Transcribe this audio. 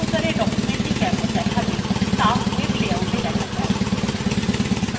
web browsera documentthe কেমন দেখাবে ত়া web layouta দেখা যায়